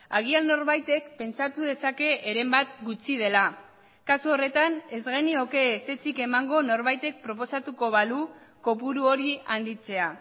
agian norbaitek pentsatu dezake heren bat gutxi dela kasu horretan ez genioke ezetzik emango norbaitek proposatuko balu kopuru hori handitzea